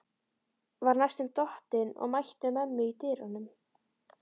Var næstum dottinn og mætti mömmu í dyrunum.